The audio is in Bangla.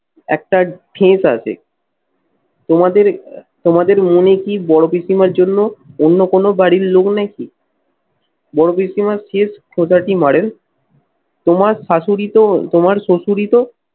একটা ঠেস আসে। তোমাদের তোমাদের মনে কি বড় পিসিমার জন্য অন্য কোন বাড়ির লোক নাকি? বড় পিসিমার শেষ খোঁচাটি মারেন, তোমার শাশুড়িতো তোমার শ্বাশুড়ি তো